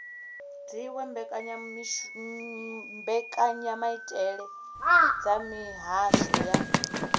dziwe mbekanyamaitele dza mihasho ya